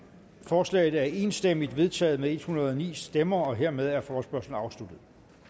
forslaget er enstemmigt vedtaget med en hundrede og ni stemmer hermed er forespørgslen afsluttet